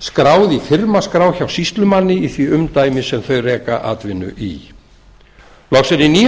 skráð í firmaskrá hjá sýslumanni í því umdæmi sem þau reka atvinnu í loks eru í níunda